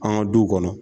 An ka duw kɔnɔ